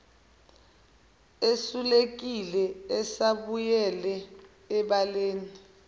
esulekile esebuyele ebaleni